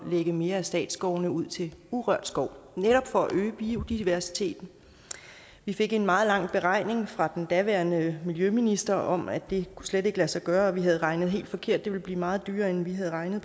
lægge mere af statsskovene ud til urørt skov netop for at øge biodiversiteten vi fik en meget lang beregning fra den daværende miljøminister om at det slet ikke kunne lade sig gøre at vi havde regnet helt forkert og det ville blive meget dyrere end vi havde regnet